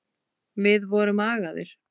Við vorum agaðir.